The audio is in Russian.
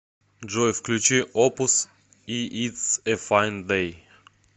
джой включи опус иии итс э файн дэй